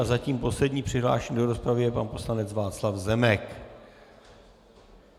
A zatím posledním přihlášený do rozpravy je pan poslanec Václav Zemek.